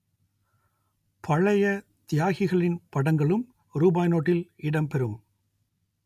பழைய தியாகிகளின் படங்களும் ரூபாய் நோட்டில் இடம் பெறும்